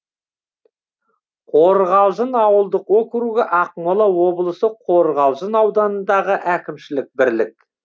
қорғалжын ауылдық округі ақмола облысы қорғалжын ауданындағы әкімшілік бірлік